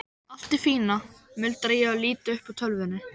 Allt í fína, muldra ég og lít upp úr tölvunni.